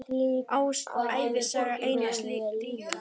Ævisaga Einars ríka